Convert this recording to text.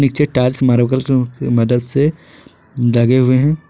नीचे tiles marble की मदद से लगे हुए हैं।